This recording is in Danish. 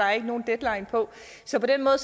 er nogen deadline på så på den måde